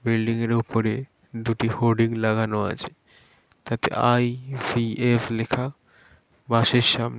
Building এর ওপরে দুটি হোডিং লাগানো আছে | তাতে আই. ভি. এফ লেখা বাস -এর সাম-- |